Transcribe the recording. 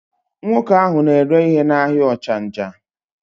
Nwoke ahụ na-ere ihe n'ahịa Ọchanja.